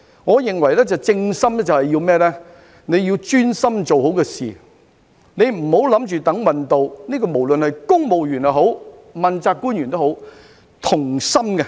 我認為"正心"便是要專心把事情做好，不要等運氣到，無論是公務員或問責官員都要同心。